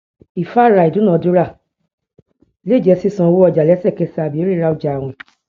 ìfáàrà ìdúnnàdúnrà lè jẹ sísan owó ọjà lẹsẹkẹsẹ àbí ríra ọjà àwìn